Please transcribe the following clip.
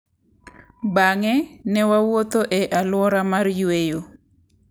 Bang’e, ne wawuotho ​​e alwora mar yweyo .